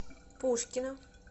пушкино